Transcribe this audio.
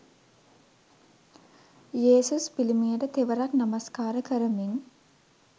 යේසුස් පිළිමයට තෙවරක් නමස්කාර කරමින්.